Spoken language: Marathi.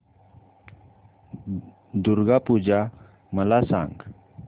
दुर्गा पूजा मला सांग